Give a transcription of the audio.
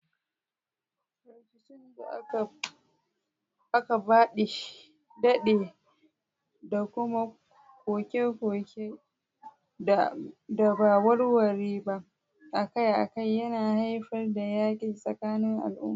Rikicin da aka dade da kuma koke-koke da ba a warware ba akai-akai yana haifar da yakin tsakanin al'umma.